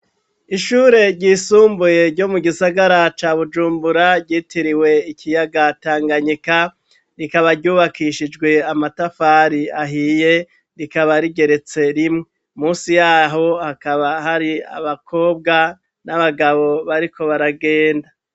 Ishure ryisumbuye, ryo mu gisagara ca Bujumbura, ryitiriwe ikiyaga Tanganyika; rikaba ryubakishijwe, amatafari ahiye, rikaba rigeretse rimwe; munsi y'aho hakaba hari, abakobwa n'abagabo, bariko baragenda.